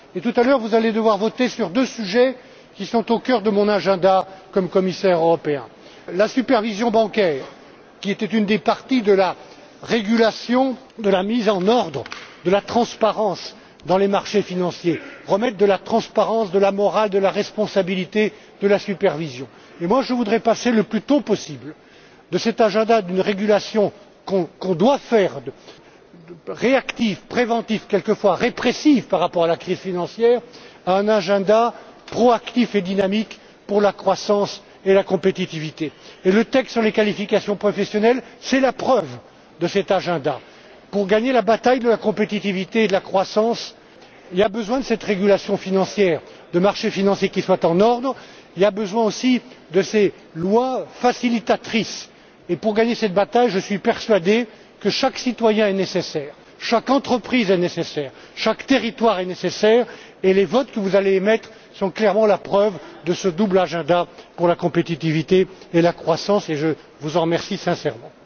importantes. Tout à l'heure, vous allez devoir voter sur deux sujets qui sont au cœur de mon agenda de commissaire européen la supervision bancaire, qui était une des parties de la régulation, de la mise en ordre, de la transparence dans les marchés financiers, pour remettre de la transparence, de la morale, de la responsabilité et de la supervision. Je voudrais passer le plus tôt possible de cet agenda d'une régulation que nous devons faire, agenda réactif, préventif et quelquefois répressif par rapport à la crise financière, à un agenda proactif et dynamique pour la croissance et la compétitivité. Et le texte sur les qualifications professionnelles, c'est la preuve de cet agenda. Pour gagner la bataille de la compétitivité et de la croissance, nous avons besoin de cette régulation financière, de marchés financiers qui soient en ordre. Nous avons besoin aussi de ces lois facilitatrices. Pour gagner cette bataille, je suis persuadé que chaque citoyen est nécessaire, que chaque entreprise est nécessaire et que chaque territoire est nécessaire. Les votes que vous allez émettre sont clairement la preuve de ce double agenda pour la compétitivité et la croissance. Je vous en remercie sincèrement.